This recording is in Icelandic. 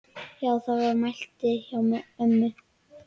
Þetta var máltæki hjá ömmu.